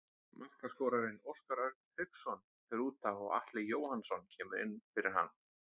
Markaskorarinn Óskar Örn Hauksson fer útaf og Atli Jóhannsson kemur inn fyrir hann.